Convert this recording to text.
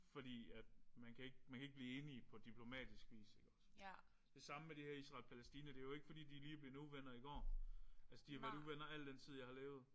Fordi at man kan ikke man kan ikke blive enige på diplomatisk vis. Det samme med de her Israel og Palæstina det er jo ikke fordi de lige er blevet uvenner i går. Altså de har været uvenner al den tid jeg har levet